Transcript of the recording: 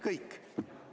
Kõik.